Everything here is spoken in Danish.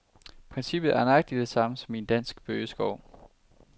Princippet er nøjagtig det samme som i en dansk bøgeskov.